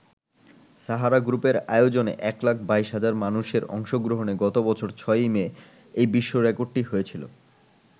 সাহারা গ্রুপের আয়োজনে এক লাখ ২২ হাজার মানুষের অংশগ্রহণে গত বছরের ৬ই মে এই বিশ্ব রেকর্ডটি হয়েছিল।